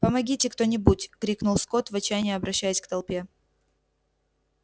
помогите кто-нибудь крикнул скотт в отчаянии обращаясь к толпе